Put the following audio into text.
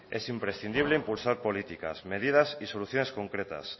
es imprescindible impulsar políticas medidas y soluciones concretas